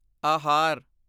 ਆਹਾਰ